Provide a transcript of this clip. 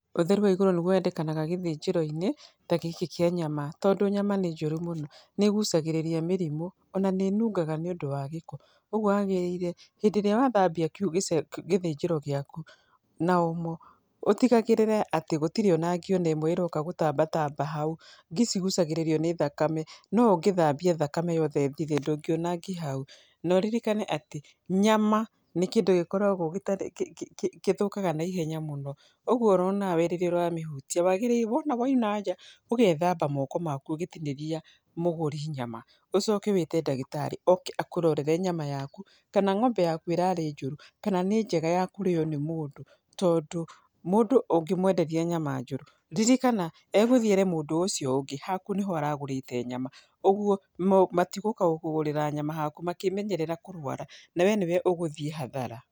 Ũtheru wa igũrũ niguo wendekanaga gĩthĩnjĩro-inĩ ta gĩkĩ kĩa nyama tondũ nyama nĩ njũru mũno nĩ ĩgucagĩrĩria mĩrimũ ona nĩ ĩnungaga nĩ ũndũ wa gĩko. Ũguo wagĩrĩire hĩndĩ ĩria wathambia gĩthĩnjĩro gĩaku na omo ũtigagĩrĩre atĩ gũtirĩ ona ngĩ ona ĩmwe ĩroka gũtambatamba hau, ngĩ cigucagĩrĩrio nĩ thakame no ũngĩthambia thakame yothe ĩthire ndũngĩona ngĩ hau. No ririkane atĩ nyama nĩ kĩndũ gĩkoragwo gĩthũkaga na ihenya mũno ũguo oronawe rĩrĩa ũramĩhutia wagĩrĩirwo wona wauma nja ũgethamba moko maku ũgĩtinĩria mũgũri nyama. Ũcoke wĩte ndagĩtarĩ oke akũrorere nyama yaku kana ng'ombe yaku ĩrarĩ njũru kana nĩ njega yakũrĩyo nĩ mũndũ, tondũ mũndũ ũngĩmwenderia nyama njũru, ririkana egũthii ere mũndũ ũcio ũngĩ haku nĩyo aragurĩte nyama, ũguo matigũka gũkũgũrĩra nyama haku makĩmenyerera kũrwara na we nĩwe ũgũthii hathara.